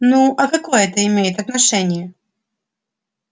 ну а какое это имеет отношение